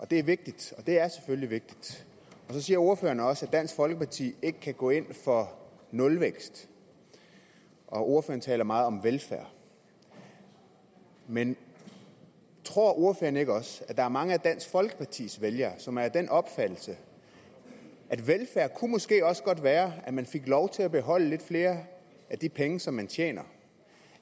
det er vigtigt og det er selvfølgelig vigtigt så siger ordføreren også at dansk folkeparti ikke kan gå ind for nulvækst og ordføreren taler meget om velfærd men tror ordføreren ikke også at der er mange af dansk folkepartis vælgere som er af den opfattelse at velfærd måske også godt kunne være at man fik lov til at beholde lidt flere af de penge man tjente og